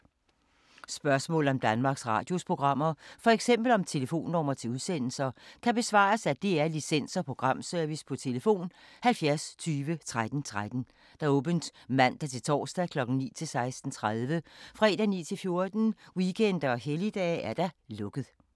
Spørgsmål om Danmarks Radios programmer, f.eks. om telefonnumre til udsendelser, kan besvares af DR Licens- og Programservice: tlf. 70 20 13 13, åbent mandag-torsdag 9.00-16.30, fredag 9.00-14.00, weekender og helligdage: lukket.